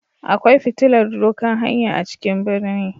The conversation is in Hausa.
Akwai fitilar dokan hanya a cikin ɓirni.